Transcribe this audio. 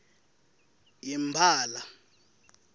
yemphala